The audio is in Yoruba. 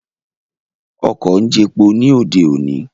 Ọkọ̀ ń jepo ní òde òní